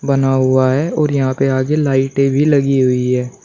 बना हुआ है और यहां पे आगे लाइटें भी लगी हुई ऐं ।